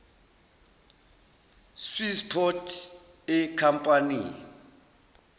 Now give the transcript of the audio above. swiss port ekhampanini